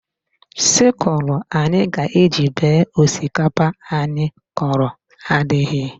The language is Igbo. Sịkulụ anyị ga-eji bee osikapa anyị kọrọ adịghị